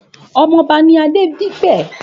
Òmò òbá ni Adedipe